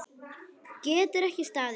Getur ekki staðið.